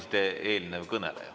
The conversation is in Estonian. Aitäh!